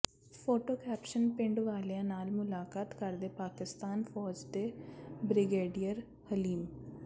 photo caption ਪਿੰਡ ਵਾਲਿਆਂ ਨਾਲ ਮੁਲਾਕਾਤ ਕਰਦੇ ਪਾਕਿਸਤਾਨ ਫ਼ੌਜ ਦੇ ਬ੍ਰਿਗੇਡੀਅਰ ਹਲੀਮ